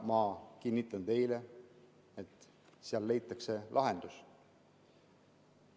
Ma kinnitan teile, et seal leitakse lahendus.